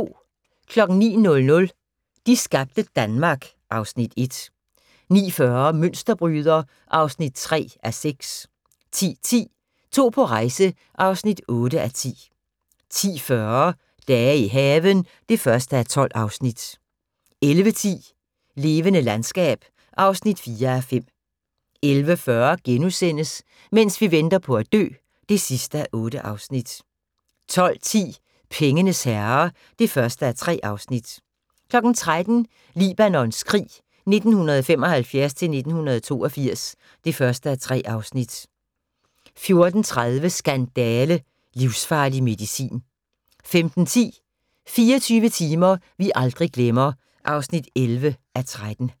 09:00: De skabte Danmark (Afs. 1) 09:40: Mønsterbryder (3:6) 10:10: To på rejse (8:10) 10:40: Dage i haven (1:12) 11:10: Levende landskab (4:5) 11:40: Mens vi venter på at dø (8:8)* 12:10: Pengenes herre (1:3) 13:00: Libanons krig 1975-1982 (1:3) 14:30: Skandale – livsfarlig medicin 15:10: 24 timer vi aldrig glemmer (11:13)